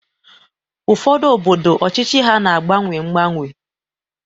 Ụfọdụ obodo ọchịchị ha na-agbanwe agbanwe